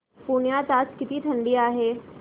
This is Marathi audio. पुण्यात आज किती थंडी आहे